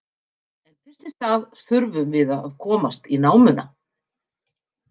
En fyrst í stað þurfum við að komast í námuna.